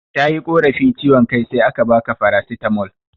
Tayi korafi ciwan kai sai aka baka farasitamol